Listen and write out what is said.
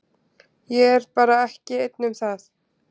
Ég er bara ekki einn um það.